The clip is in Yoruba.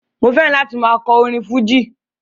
Mo fẹ́ràn láti máa kọ orin fújì